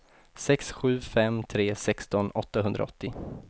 sex sju fem tre sexton åttahundraåttio